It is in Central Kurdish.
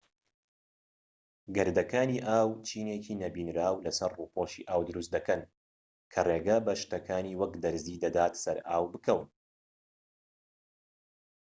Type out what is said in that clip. گەردەکانی ئاو چینێکی نەبینراو لە سەر ڕووپۆشی ئاو دروست دەکەن کە ڕێگە بە شتەکانی وەک دەرزی دەدات سەر ئاو بکەون